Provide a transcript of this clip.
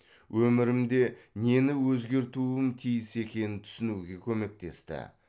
өмірімде нені өзгертуім тиіс екенін түсінуге көмектесті